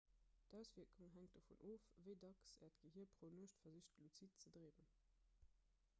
d'auswierkung hänkt dovun of wéi dacks äert gehier pro nuecht versicht luzid ze dreemen